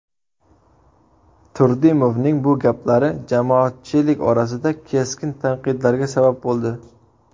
Turdimovning bu gaplari jamoatchilik orasida keskin tanqidlarga sabab bo‘ldi.